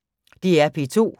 DR P2